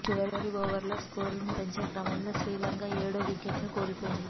చివరి ఓవర్లలో స్కోరును పెంచే క్రమంలో శ్రీలంక ఏడో వికెట్ను కోల్పోయింది